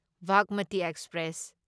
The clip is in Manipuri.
ꯚꯥꯒꯃꯇꯤ ꯑꯦꯛꯁꯄ꯭ꯔꯦꯁ